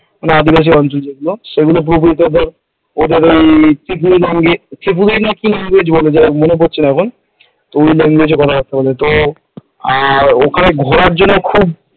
আদিবাসী অঞ্চল যেগুলো সেগুলো পুরোপুরি ধর ত্রিপুরী না কি language বলে, যাইহোক মনে পড়ছে না এখন। তো ওই language কথাবার্তা বলে । তো আর ওখানে ঘোরার জন্য খুব,